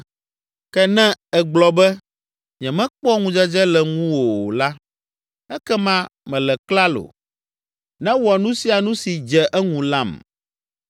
Ke ne egblɔ be, ‘Nyemekpɔ ŋudzedze le ŋuwò o’ la, ekema mele klalo; newɔ nu sia nu si dze eŋu lam.”